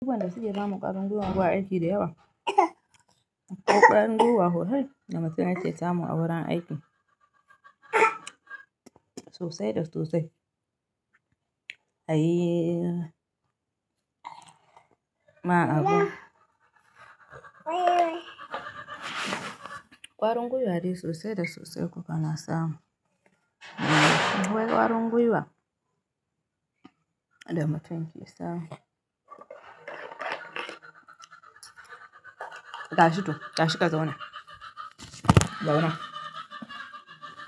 Abubuwan wanda suke samun ƙwarin gwiwa zuwa aiki da yawa. Akwai ƙwarin gwiwa sosal da mutum yake samu a wurin aiki. Sosai da sosai. Ayii. Ma abun. Ƙwarin gwiwa dai sosai da sosai kuka na samu. Akwai ƙwarin gwiwa. Da mutum ke samu. Gashi to, gashi ka zauna. Zauna.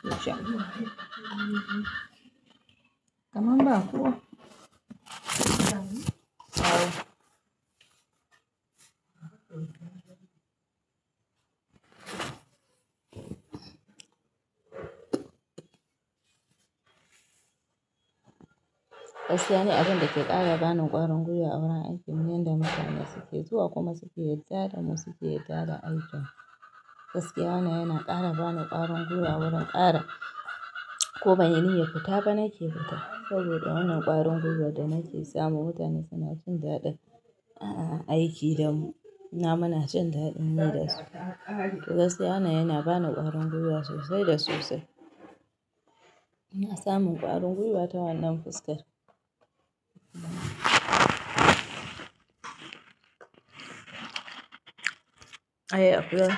Zauna. Kaman ba kowa zauna. Gaskiya ni abin da ke ƙara bani ƙwarin gwiwa a wurin aikin mu, yanda mutane suke zuwa kuma suke yarda da mu, suke yarda da aikn. Gaskiya wannan yana ƙara bani ƙwarin gwiwa wurin ƙara ko banyi niyan fita ba nake fita. Saboda wannan ƙwarin gwiwar da nake samu, mutane suna jin daɗin aiki da mu. Muma munajin daɗin yi da su. To gaskiya wanna yana bani ƙwarin gwiwa sosai da sosai. Ina samu ƙwarin gwiwa ta wannan fuskar. Ayii akuya.